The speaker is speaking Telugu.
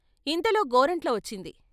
ఇంతలో గోరంట్ల వచ్చింది.